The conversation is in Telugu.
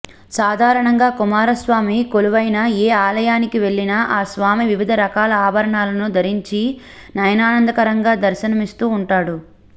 సాధారణంగా కుమారస్వామి కొలువైన ఏ ఆలయానికి వెళ్లినా ఆ స్వామి వివిధ రకాల ఆభరణాలను ధరించి నయనానందకరంగా దర్శనమిస్తూ ఉంటాడు